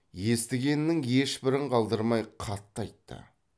естігенінің ешбірін қалдырмай қатты айтты